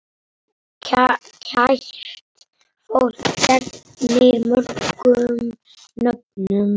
Kært fólk gegnir mörgum nöfnum.